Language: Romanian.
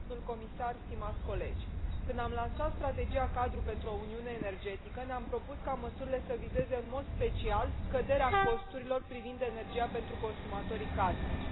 Domnule comisar, stimați colegi, când am lansat strategia cadru pentru o uniune energetică, ne am propus ca măsurile să vizeze în mod special scăderea costurilor la energie pentru consumatorii casnici.